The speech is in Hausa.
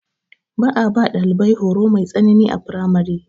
Ba a ba ɗalibai horo mai tsanani a firamare.